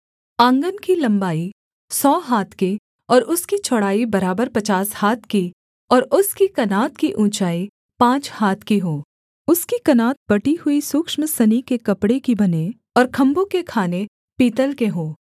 आँगन की लम्बाई सौ हाथ की और उसकी चौड़ाई बराबर पचास हाथ की और उसकी कनात की ऊँचाई पाँच हाथ की हो उसकी कनात बटी हुई सूक्ष्म सनी के कपड़े की बने और खम्भों के खाने पीतल के हों